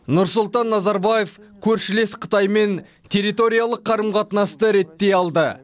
нұрсұлтан назарбаев көршілес қытаймен территориялық қарым қатынасты реттей алды